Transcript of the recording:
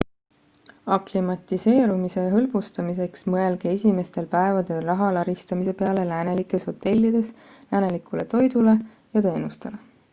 aklimatiseerumise hõlbustamiseks mõelge esimestel päevadel raha laristamise peale läänelikes hotellides läänelikule toidule ja teenustele